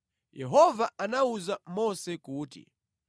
Yehova anawuza Mose kuti,